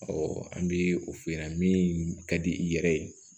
an bɛ o f'i ɲɛna min ka di i yɛrɛ ye